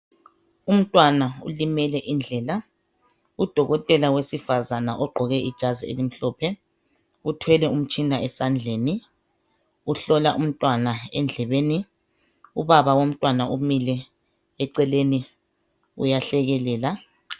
Umntwana ulimele indlebe udokotela ogqoke ijazi elimhlophe uthwele umtshina esandleni uhlola umntwana endlebeni ubabawomntwana umile eceleni uyahlekelela